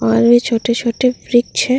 और भी छोटे-छोटे वृक्षे --